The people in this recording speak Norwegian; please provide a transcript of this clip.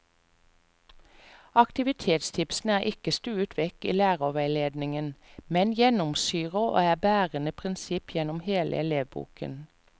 Aktivitetstipsene er ikke stuet vekk i lærerveiledninger, men gjennomsyrer og er bærende prinsipp gjennom hele elevboken.